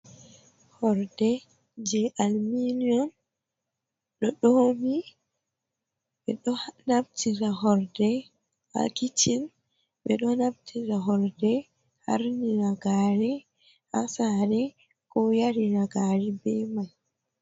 Horde je alminion ɗo ɗomi. Ɓeɗo naftira horde ha kiccin, ɓeɗo naftira horde harnira gari ha sare, ko yarira gari be mai.